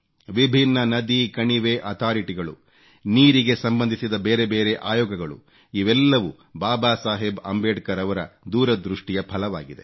ವಿಭಿನ್ನ ನದಿ ಕಣಿವೆ ಅಥಾರಿಟಿಗಳು ನೀರಿಗೆ ಸಂಬಂಧಿಸಿದ ಬೇರೆ ಬೇರೆ ಆಯೋಗಗಳು ಇವೆಲ್ಲವೂ ಬಾಬಾ ಸಾಹೇಬ್ ಅಂಬೇಡ್ಕರ್ ಅವರ ದೂರದೃಷ್ಟಿಯ ಫಲವಾಗಿದೆ